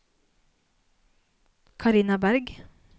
Carina Bergh